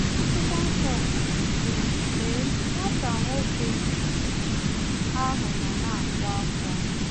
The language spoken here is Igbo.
Akwụkwọ Nsọ kwuru sị: “Lee, nwata nwoke ahụ nọ na-akwa ákwá